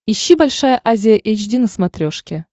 ищи большая азия эйч ди на смотрешке